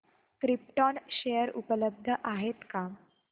krypton share उपलब्ध आहेत का